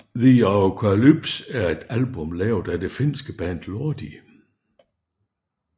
The Arockalypse er et album lavet af det finske band Lordi